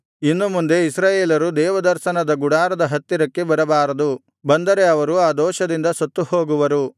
ಇನ್ನು ಮುಂದೆ ಇಸ್ರಾಯೇಲರು ದೇವದರ್ಶನದ ಗುಡಾರದ ಹತ್ತಿರಕ್ಕೆ ಬರಬಾರದು ಬಂದರೆ ಅವರು ಆ ದೋಷದಿಂದ ಸತ್ತುಹೋಗುವರು